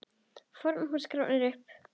FORN HÚS GRAFIN UPP